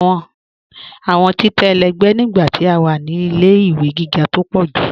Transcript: Awọn títẹ̀ ẹlẹgbẹ̀ nígbà tí a wá ní ilẹ̀-ìwé gígá tó pọ̀ jù.